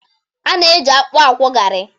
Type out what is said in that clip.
A na-eji akpụ akwọ garị.